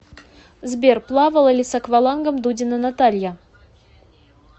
сбер плавала ли с аквалангом дудина наталья